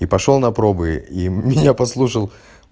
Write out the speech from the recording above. и пошёл на пробы и меня послушал